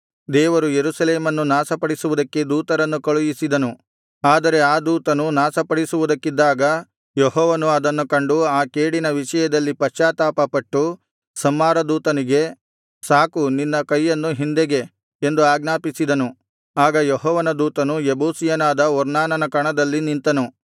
ದೇವರು ಯೆರೂಸಲೇಮನ್ನು ನಾಶಪಡಿಸುವುದಕ್ಕೆ ದೂತರನ್ನು ಕಳುಹಿಸಿದನು ಆದರೆ ಆ ದೂತನು ನಾಶಪಡಿಸುವುದಕ್ಕಿದ್ದಾಗ ಯೆಹೋವನು ಅದನ್ನು ಕಂಡು ಆ ಕೇಡಿನ ವಿಷಯದಲ್ಲಿ ಪಶ್ಚಾತ್ತಾಪಪಟ್ಟು ಸಂಹಾರ ದೂತನಿಗೆ ಸಾಕು ನಿನ್ನ ಕೈಯನ್ನು ಹಿಂದೆಗೆ ಎಂದು ಆಜ್ಞಾಪಿಸಿದನು ಆಗ ಯೆಹೋವನ ದೂತನು ಯೆಬೂಸಿಯನಾದ ಒರ್ನಾನನ ಕಣದಲ್ಲಿ ನಿಂತನು